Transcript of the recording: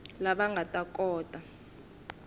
lava nga ta kota ku